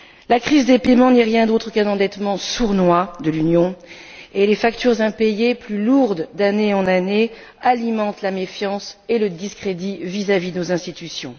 La crise des paiements n'est rien d'autre qu'un endettement sournois de l'Union et les factures impayées, plus lourdes d'année en année, alimentent la méfiance et le discrédit vis à vis de nos institutions.